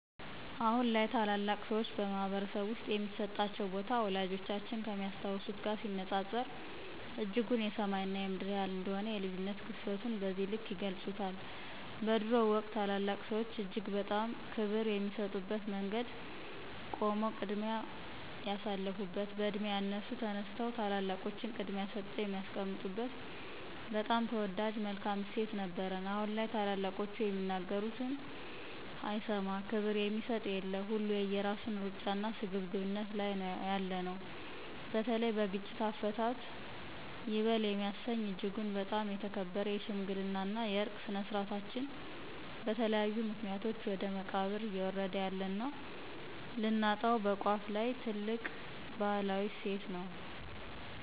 አሁን ላይ ታላላቅ ሰዎች በማህበረሰብ ውስጥ የሚሰጣቸው ቦታ፣ ወላጆቻችን ከሚያስታውሱት ጋር ሲነጻጸር እጅጉን የሰማይ እና የምድር ያህል እንደሆነ የልዩነት ግዝፈቱን በዚህ ልክ ይገልፁታል። በድሮው ወቅት ታላላቅ ሰዎች እጅግ በጣም ክብር የሚሰጡበት መንገድ ቆሞ ቅድሚያ የሳልፋበት፣ በዕድሜ ያነሱ ተነስተው ታላላቆቹን ቅድሚያ ሰጠው የሚያስቀምጡበት በጣም ተወዳጅ መልካም እሴት ነበረን አሁን ላይ ታላላቆቹ የሚናገሩት አይሰማ፣ ክብር የሚሰጥ የለ፣ ሁሉ የየራሱን ሩጫና ስግብግብነት ላይ ነው ያለነው። በተለይ በግጭት አፈታት ይበል የሚያሰኝ እጅጉን በጣም የተከበረ የሽምግልና የዕርቅ ስነ-ስርዓታችን በተለያዩ ምክኒያቶች ወደ መቃብር እዬወረደ ያለና ልናጣው በቋፍ ላይ ትልቅ ባህላዊ እሴት ነው።